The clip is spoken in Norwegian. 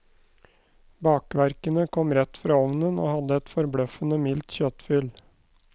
Bakverkene kom rett fra ovnen og hadde et forbløffende mildt kjøttfyll.